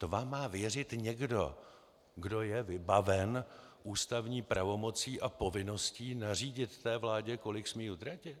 To vám má věřit někdo, kdo je vybaven ústavní pravomocí a povinností nařídit té vládě, kolik smí utratit?